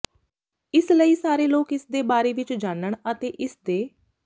ਇਸ ਲਈ ਸਾਰੇ ਲੋਕ ਇਸ ਦੇ ਬਾਰੇ ਵਿੱਚ ਜਾਣਨ ਅਤੇ ਇਸ ਦੇ